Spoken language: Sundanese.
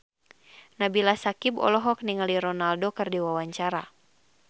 Nabila Syakieb olohok ningali Ronaldo keur diwawancara